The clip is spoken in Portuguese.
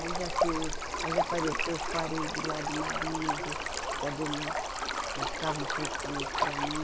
Aí já ter, aí já apareceu os parente do lado do marido, já deu um, já ficava um pouco com eles para mim.